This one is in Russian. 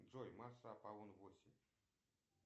джой масса аполлон восемь